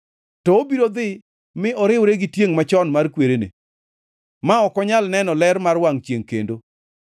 to obiro dhi mi oriwre gi tiengʼ machon mar kwerene, ma ok nyal neno ler mar wangʼ chiengʼ kendo.